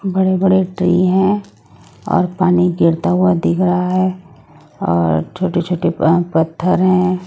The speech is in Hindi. बड़े बड़े ट्री हैं और पानी गिरता हुआ दिख रहा है और छोटे छोटे आ पत्थर है।